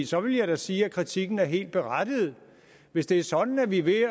så vil jeg da sige at kritikken er helt berettiget hvis det er sådan at vi ved